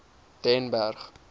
den berg